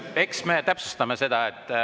Eks me täpsustame seda.